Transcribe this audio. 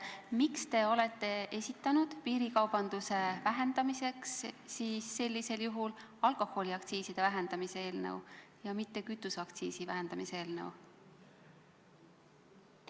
Miks te olete siis esitanud piirikaubanduse vähendamiseks alkoholiaktsiiside vähendamise eelnõu ja mitte kütuseaktsiisi vähendamise eelnõu?